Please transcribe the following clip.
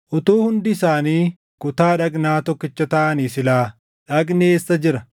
Utuu hundi isaanii kutaa dhagnaa tokkicha taʼanii silaa dhagni eessa jira?